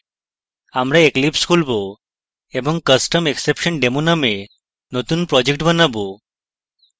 আমরা eclipse খুলবো এবং customexceptiondemo নামে নতুন project বানাবো